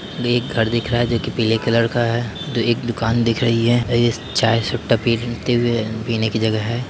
दे एक घर दिख रहा है जोकि पीले कलर का है दे एक दुकान दिख रही है ए यस चाय सुट्टा पिरन ते हुए पीने की जगह है।